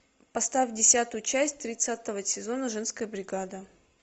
поставь десятую часть тридцатого сезона женская бригада